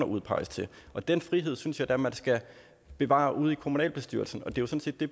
udpeges til og den frihed synes jeg da man skal bevare ude i kommunalbestyrelsen og det det